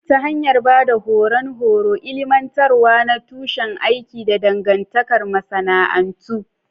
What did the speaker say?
Ta hanyar ba da horon horo, ilmantarwa na tushen aiki, da dangantakar masana'antu.